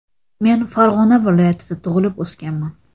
Men Farg‘ona viloyatida tug‘ilib o‘sganman.